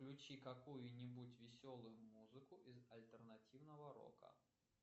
включи какую нибудь веселую музыку из альтернативного рока